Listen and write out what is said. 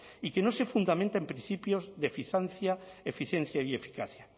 y que no se fundamenta en principios de eficiencia y eficacia